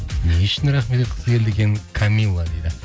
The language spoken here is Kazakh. не үшін рахмет айтқысы келді екен камилла дейді